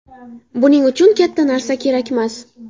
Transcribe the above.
Buning uchun katta narsa kerakmas.